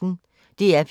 DR P1